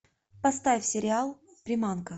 поставь сериал приманка